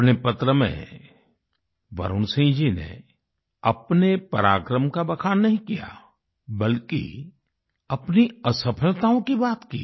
अपने पत्र में वरुण सिंह जी ने अपने पराक्रम का बखान नहीं किया बल्कि अपनी असफलताओं की बात की